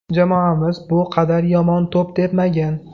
Jamoamiz bu qadar yomon to‘p tepmagan.